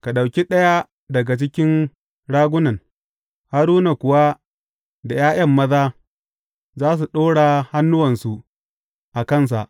Ka ɗauki ɗaya daga cikin ragunan, Haruna kuwa da ’ya’yan maza za su ɗora hannuwansa a kansa.